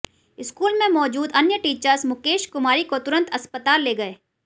school में मौजूद अन्य टीचर्स मुकेश कुमारी को तुरंत अस्पताल ले गए